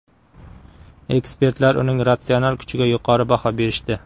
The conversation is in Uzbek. Ekspertlar uning ratsional kuchiga yuqori baho berishdi.